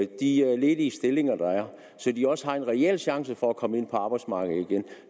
de ledige stillinger der er så de også har en reel chance for at komme ind på arbejdsmarkedet igen